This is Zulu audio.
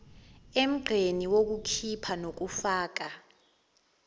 emgqeni wokukhipha nokufaka